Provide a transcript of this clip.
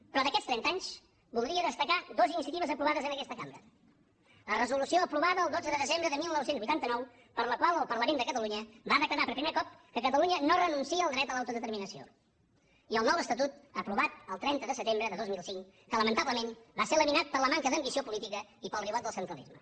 però d’aquests trenta anys voldria destacar dues iniciatives aprovades en aquesta cambra la resolució aprovada el dotze de desembre de dinou vuitanta nou per la qual el parlament de catalunya va declarar per primer cop que catalunya no renuncia al dret a l’autodeterminació i el nou estatut aprovat el trenta de setembre de dos mil cinc que lamentablement va ser laminat per la manca d’ambició política i pel ribot del centralisme